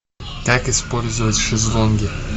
как использовать шезлонги